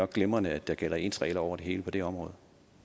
glimrende at der gælder ens regler over det hele på det område